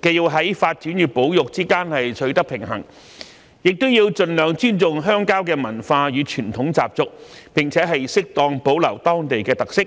既要在發展與保育之間取得平衡，又要盡量尊重鄉郊的文化與傳統習俗，並適當保留當地的特色。